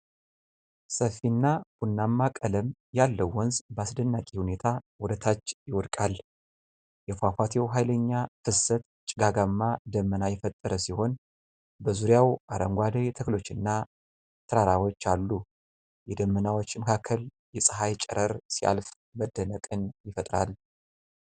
ሰፊና ቡናማ ቀለም ያለው ወንዝ በአስደናቂ ሁኔታ ወደታች ይወድቃል። የፏፏቴው ኃይለኛ ፍሰት ጭጋጋማ ደመና የፈጠረ ሲሆን፣ በዙሪያው አረንጓዴ ተክሎችና ተራራዎች አሉ። የደመናዎች መካከል የፀሐይ ጨረር ሲያልፍ መደነቅን ይፈጥራል።